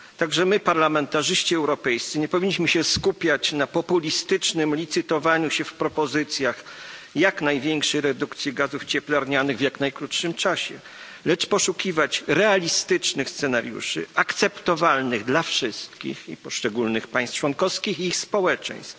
Także my, parlamentarzyści europejscy, nie powinniśmy się skupiać na populistycznym licytowaniu się w propozycjach jak największej redukcji gazów cieplarnianych w jak najkrótszym czasie, lecz poszukiwać realistycznych scenariuszy, akceptowalnych dla wszystkich poszczególnych państw członkowskich i ich społeczeństw.